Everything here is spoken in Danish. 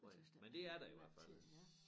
Jeg tøs da ikke jeg har lagt mærke til ja